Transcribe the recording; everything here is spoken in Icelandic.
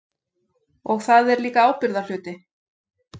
Og það er líka ábyrgðarhluti.